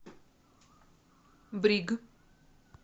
бриг